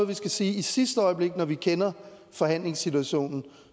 vi skal sige i sidste øjeblik når vi kender forhandlingssituationen